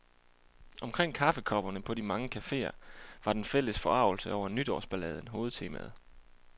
Omkring kaffekopperne på de mange caféer var den fælles forargelse over nytårsballaden hovedtemaet.